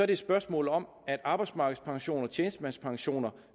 det et spørgsmål om at arbejdsmarkedspensioner og tjenestemandspensioner